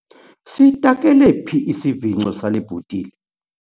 Sitakele phi isivingco sale bhotile?